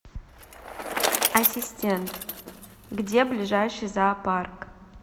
ассистент где ближайший зоопарк